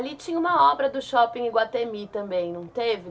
Ali tinha uma obra do Shopping Iguatemi também, não teve?